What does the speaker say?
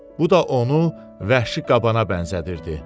Bu da onu vəhşi qabana bənzədirdi.